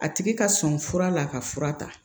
A tigi ka sɔn fura la ka fura ta